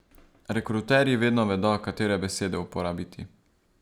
Rekruterji vedno vedo, katere besede uporabiti.